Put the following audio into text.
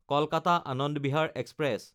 Kolkata-Anand Bihar express